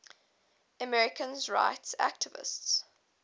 americans rights activists